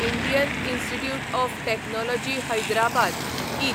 Indian Institute of Technology Hyderabad इथ